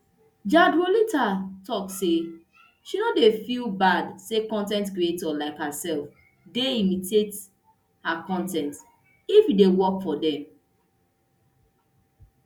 jadrolita tok say she no dey feel bad say con ten t creator like herself dey imitate her con ten t if e dey work for dem